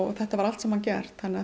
þetta var allt saman gert þannig að